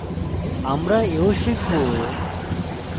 আমরা we শিখব